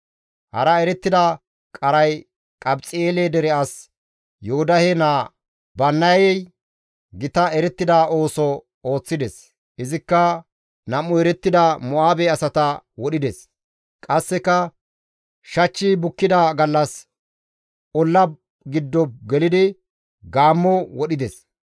Hara erettida qaray Qabxi7eele dere as Yoodahe naa Bannayay gita erettida ooso ooththides. Izikka nam7u erettida Mo7aabe asata wodhides; qasseka shachchi bukkida gallas olla giddo gelidi gaammo wodhides.